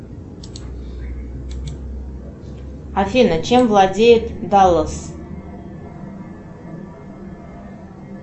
афина чем владеет даллас